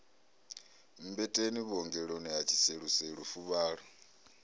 mmbeteni vhuongeloni ha tshiseluselu fuvhalo